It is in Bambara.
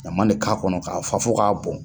Ɲama de k'a kɔnɔ, k'a fa fo k'a bon.